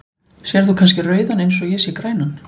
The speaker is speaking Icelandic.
Sérð þú kannski rauðan eins og ég sé grænan?